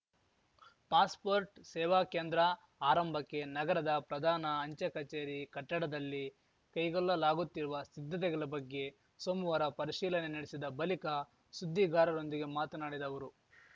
passport ಸೇವಾ ಕೇಂದ್ರ ಆರಂಭಕ್ಕೆ ನಗರದ ಪ್ರಧಾನ ಅಂಚೆ ಕಚೇರಿ ಕಟ್ಟಡದಲ್ಲಿ ಕೈಗೊಲ್ಲಲಾಗುತ್ತಿರುವ ಸಿದ್ಧತೆಗಲ ಬಗ್ಗೆ ಸೋಮವಾರ ಪರಿಶೀಲನೆ ನಡೆಸಿದ ಬಲಿಕ ಸುದ್ದಿಗಾರರೊಂದಿಗೆ ಮಾತನಾಡಿದ ಅವರು